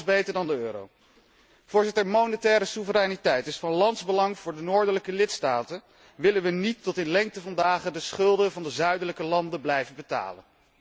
Alles beter dan de euro. Voorzitter, monetaire soevereiniteit is van landsbelang voor de noordelijke lidstaten, willen we niet tot in lengte van dagen de schulden van de zuidelijke landen blijven betalen.